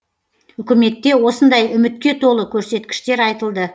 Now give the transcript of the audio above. үкіметте осындай үмітке толы көрсеткіштер айтылды